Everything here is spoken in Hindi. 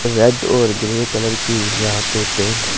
रेड और ग्रे कलर की यहां पे बेड --